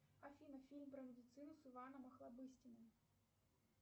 афина фильм про медицину с иваном охлобыстиным